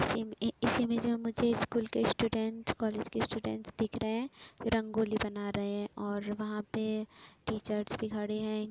इस इस इमेज में मुझे स्कूल स्टूडेंट कॉलेज के स्टूडेंट दिख रहे रंगोली बना रहे हैं और वहाँं पे टीचर्स भी खड़े हैं।